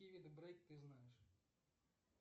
какие виды брейк ты знаешь